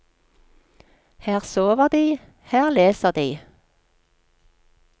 Her sover de, her leser de.